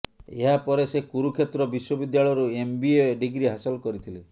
ଏହା ପରେ ସେ କୁରୁକ୍ଷେତ୍ର ବିଶ୍ୱବିଦ୍ୟାଳୟରୁ ଏମବିଏ ଡିଗ୍ରୀ ହାସଲ କରିଥିଲେ